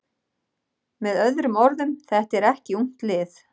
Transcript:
Með öðrum orðum: Þetta er ekki ungt lið.